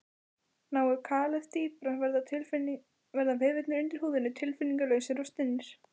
Nái kalið dýpra verða vefirnir undir húðinni tilfinningalausir og stinnir.